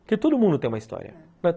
Porque todo mundo tem uma história.